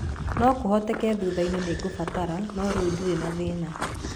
No kũhoteke thutha-inĩ nĩ ngũbatara, no rĩu ndirĩ na thĩna.